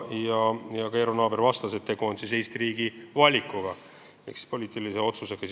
Eero Naaber vastas, et tegu on Eesti riigi valikuga ehk sisuliselt poliitilise otsusega.